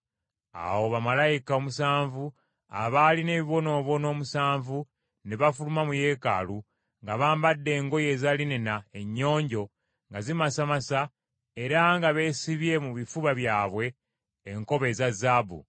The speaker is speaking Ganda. Awo bamalayika omusanvu abaalina ebibonoobono omusanvu ne bafuluma mu Yeekaalu nga bambadde engoye eza linena ennyonjo nga zimasamasa era nga beesibye mu bifuba byabwe enkoba eza zaabu.